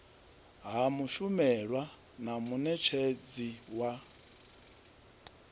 ha mushumelwa na munetshedzi wa